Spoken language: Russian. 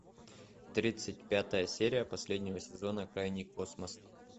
тридцать пятая серия последнего сезона крайний космос